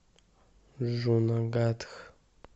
джунагадх